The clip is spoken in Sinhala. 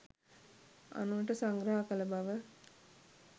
අනුනට සංග්‍රහ කළ බව